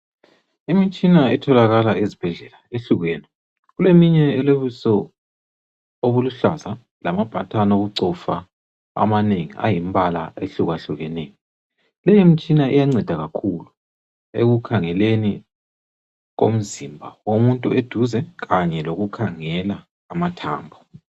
Imitshina etholakala ezibhedlela ihlukene. Kuleminye elobuso obuluhlaza. Lamabhathani okucofa, amanengi. Ayimbala ehlukahlukeneyo. Lemitshina iyanceda kakhulu. Ekukhangeleni komzimba womuntu eduze. Kanye lokukhangela amathambo.